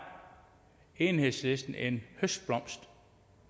enhedslisten en høstblomst